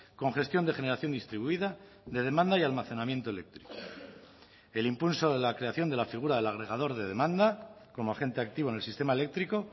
con gestión de generación distribuida de demanda y almacenamiento eléctrico el impulso de la creación de la figura del agregador de demanda como agente activo en el sistema eléctrico